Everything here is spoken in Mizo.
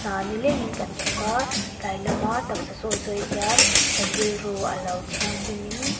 hna nileng in kan thawk a tlai lam a taksa sawi zawi hian kan rilru alo thiang hlim in--